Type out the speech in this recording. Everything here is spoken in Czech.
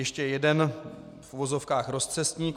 Ještě jeden v uvozovkách rozcestník.